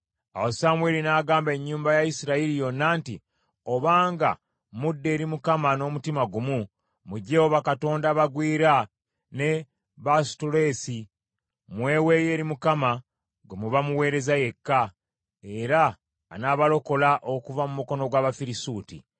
Awo Samwiri n’agamba ennyumba ya Isirayiri yonna nti, “Obanga mudda eri Mukama n’omutima gumu, muggyeewo bakatonda abagwira ne Baasutoleesi, mmweweeyo eri Mukama gwe muba muweerezanga yekka, era anaabalokola okuva mu mukono gw’Abafirisuuti.”